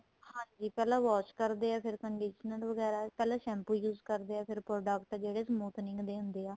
ਹਾਂਜੀ ਪਹਿਲਾਂ wash ਕਰਦੇ ਏ ਫ਼ੇਰ conditioner ਵਗੈਰਾ ਪਹਿਲਾਂ shampoo use ਕਰਦੇ ਏ ਫ਼ੇਰ ਜਿਹੜੇ product smoothing ਦੇ ਹੁੰਦੇ ਆ